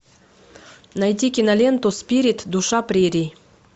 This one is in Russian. найти киноленту спирит душа прерий